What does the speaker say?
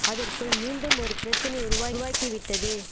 அதற்குள் மீண்டும் ஒரு பிரச்சனை உருவாய் உருவாக்கிவிட்டது